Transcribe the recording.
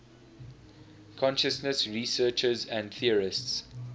consciousness researchers and theorists